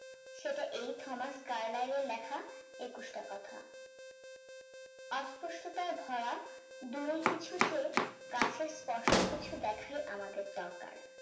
সেটা এই থমাস কার্লার লেখা একুশ টা কথা আজ কষ্ট তার ভরা দূরে কিছু চেয়ে কাছে স্পষ্ট কিছু দেখায় আমাদের দরকার